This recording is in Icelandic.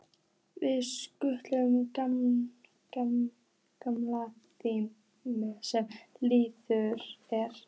Við skulum gleyma því sem liðið er.